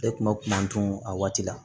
E kun ma kun man tunu a waati la